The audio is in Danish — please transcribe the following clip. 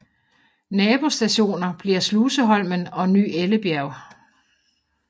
Nabostationer bliver Sluseholmen og Ny Ellebjerg